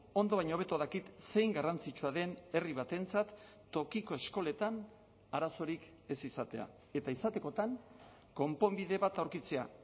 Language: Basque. ondo baino hobeto dakit zein garrantzitsua den herri batentzat tokiko eskoletan arazorik ez izatea eta izatekotan konponbide bat aurkitzea